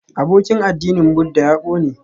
Abokin addinin Buddha ya ƙone